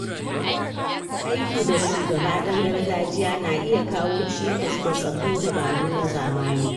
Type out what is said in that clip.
Aiki da shugaba ɗan gargajiya na iya kawo cikas ga sabbin dabaru na zamani.